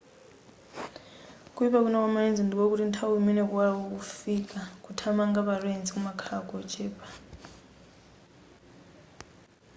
kuyipa kwina kwa ma lens ndikokuti nthawi imene kuwala kukufika kuthamanga pa lens kumakhala kochepa